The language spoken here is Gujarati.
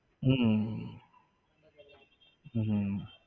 હમ હમ